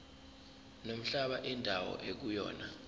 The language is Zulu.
nomhlaba indawo ekuyona